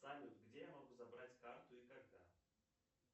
салют где я могу забрать карту и когда